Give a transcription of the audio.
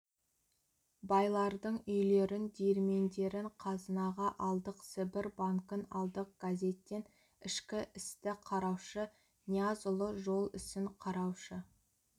байлардың үйлерін диірмендерін қазынаға алдық сібір банкін алдық газеттен ішкі істі қараушы ниязұлы жол ісін қараушы